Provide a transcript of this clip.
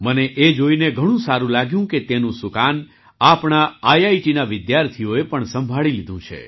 મને એ જોઈને ઘણું સારું લાગ્યું કે તેનું સુકાન આપણા આઈઆઈટીના વિદ્યાર્થીઓએ પણ સંભાળી લીધું છે